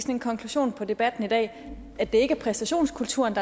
en konklusion på debatten i dag at det ikke er præstationskulturen